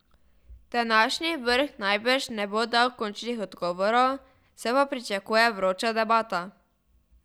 Današnji vrh najbrž ne bo dal končnih odgovorov, se pa pričakuje vroča debata.